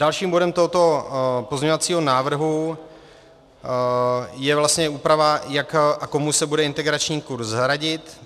Dalším bodem tohoto pozměňovacího návrhu je vlastně úprava, jak a komu se bude integrační kurz hradit.